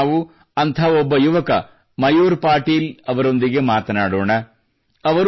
ಇಂದು ನಾವು ಅಂಥ ಒಬ್ಬ ಯುವಕ ಮಯೂರ್ ಪಾಟೀಲ್ ಅವರೊಂದಿಗೆ ಮಾತನಾಡೋಣ